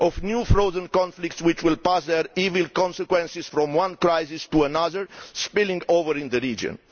of new frozen conflicts which will pass on their evil consequences from one crisis to another, spilling over in the region.